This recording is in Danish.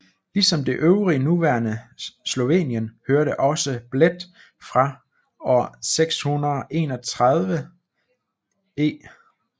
Ligesom det øvrige nuværende Slovenien hørte også Bled fra år 631 e